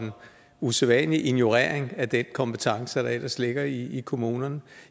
usædvanlig ignorering af den kompetence der ellers ligger i kommunerne